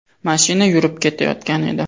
Mashina yurib ketayotgan edi.